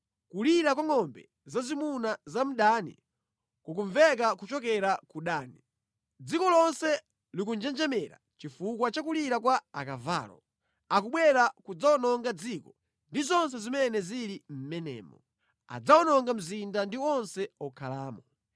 Kulira kwa ngʼombe zazimuna za mdani kukumveka kuchokera ku Dani; dziko lonse likunjenjemera chifukwa cha kulira kwa akavalowo. Akubwera kudzawononga dziko ndi zonse zimene zili mʼmenemo. Adzawononga mzinda ndi onse okhalamo.”